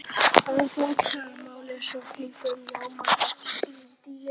að flatarmáli, svo kirkjan ljómar öll í litadýrð.